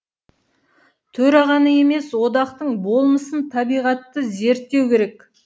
төрағаны емес одақтың болмысын зерттеу керек